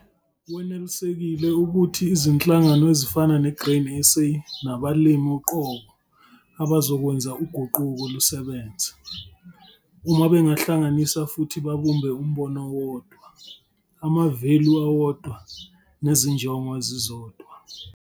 Wenelisekile ukuthi izinhlangano ezifana ne-Grain SA nabalimi uqobo abazokwenza uguquko lusebenze, uma bengahlanganisa futhi babumbe umbono owodwa, amavelu awodwa nezinjongo ezizodwa.